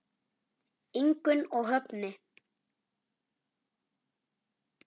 Ingunn og Högni.